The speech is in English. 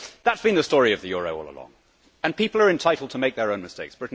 That has been the story of the euro all along, and people are entitled to make their own mistakes.